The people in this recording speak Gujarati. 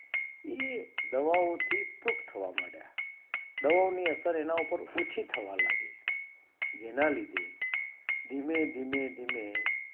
એ દવાઓ થી થવા મંડ્યા દવાઓ ની અસર અને ઉપર ઓછી થવા મંડી જેના લીધે ધીમે ધીમે ધીમે